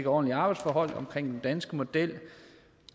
ordentlige arbejdsforhold omkring den danske model